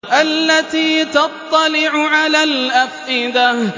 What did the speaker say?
الَّتِي تَطَّلِعُ عَلَى الْأَفْئِدَةِ